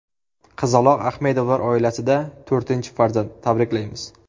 Qizaloq Ahmedovlar oilasida to‘rtinchi farzand, tabriklaymiz!